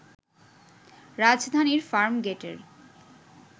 রাজধানীর ফার্মগেটের